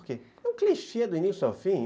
Porque é um clichê do início ao fim.